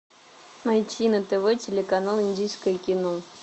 найти на тв телеканал индийское кино